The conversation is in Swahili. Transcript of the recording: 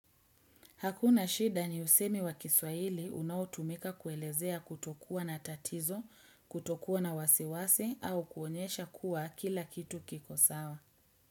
Hakuna shida ni usemi wa kiswahili unaotumika kuelezea kutokuwa na tatizo, kutokuwa na wasiwasi au kuonyesha kuwa kila kitu kiko sawa.